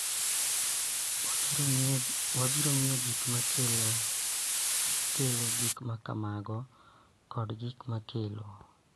Wabiro ng�iyo gik ma kelo gik ma kamago kod gik ma kelo.